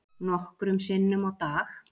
Nokkrum sinnum á dag.